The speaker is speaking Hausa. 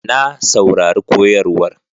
Na saurari koyarwar